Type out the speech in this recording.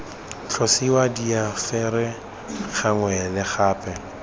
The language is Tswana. tlosiwa difaele gangwe le gape